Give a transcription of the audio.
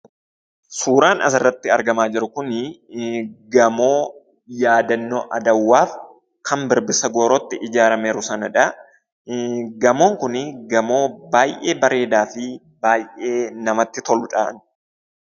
Suuraan asirratti argamaa jiru kun gamoo yaadannoo Adawaaf kan birbirsa goorootti ijaarameeru sanadha. Gamoon kun gamoo baay'ee bareedaa fi baay'ee namatti toludha.